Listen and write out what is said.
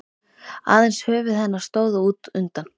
Aðeins höfuð hennar stóð út undan.